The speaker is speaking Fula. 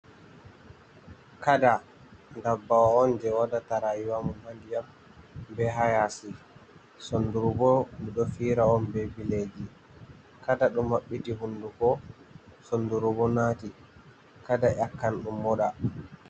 Kada ndabbawo on je waɗata rayuwamum ha ndiyam be hayasi, sondurubo ɗo fira on be bileji, kada ɗum maɓbiti hunduko sondurubo nati kada nyakkan ɗum moɗa.